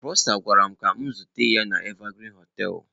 Prosper gwara m ka m zute ya na Evergreen hoteelu.